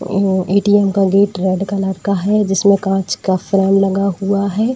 उम्म ATM का gate red colour का है जिसमें कांच का फ्रेम लगा हुआ है।